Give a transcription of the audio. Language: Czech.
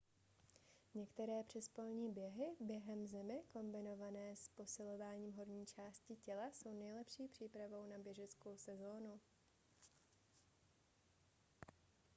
některé přespolní běhy během zimy kombinované s posilováním horní části těla jsou nejlepší přípravou na běžeckou sezónu